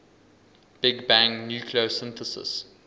big bang nucleosynthesis